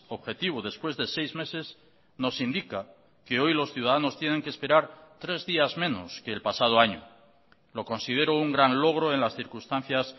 objetivo después de seis meses nos indica que hoy los ciudadanos tienen que esperar tres días menos que el pasado año lo considero un gran logro en las circunstancias